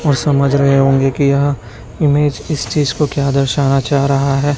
और समझ रहे होंगे कि यहां इमेज किस चीज क्या दर्शना चाह रहा है।